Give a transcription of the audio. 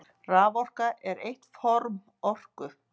Raforka er eitt form orku.